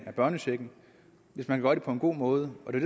af børnechecken hvis man gør det på en god måde og det